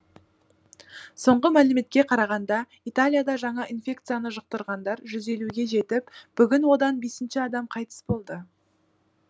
соңғы мәліметке қарағанда италияда жаңа инфекцияны жұқтырғандар жүз елуге жетіп бүгін одан бесінші адам қайтыс болды